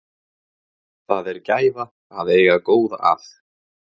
Það er gæfa að eiga góða að.